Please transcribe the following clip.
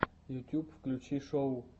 ютьюб включи шоу